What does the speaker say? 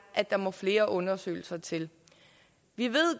at der må flere undersøgelser til vi ved